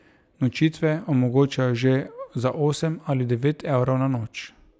Nočitve omogočajo že za osem ali devet evrov na noč.